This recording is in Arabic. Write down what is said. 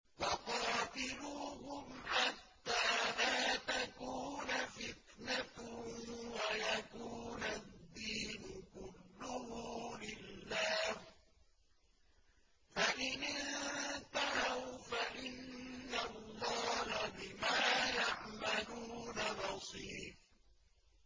وَقَاتِلُوهُمْ حَتَّىٰ لَا تَكُونَ فِتْنَةٌ وَيَكُونَ الدِّينُ كُلُّهُ لِلَّهِ ۚ فَإِنِ انتَهَوْا فَإِنَّ اللَّهَ بِمَا يَعْمَلُونَ بَصِيرٌ